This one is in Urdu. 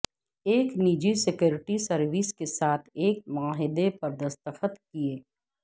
ایک نجی سیکورٹی سروس کے ساتھ ایک معاہدہ پر دستخط کئے